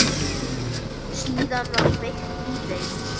Síðan var kveikt í þeim.